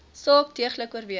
saak deeglik oorweeg